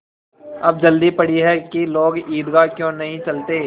अब जल्दी पड़ी है कि लोग ईदगाह क्यों नहीं चलते